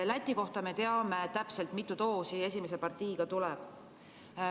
Läti kohta me teame täpselt, mitu doosi esimese partiiga tuleb.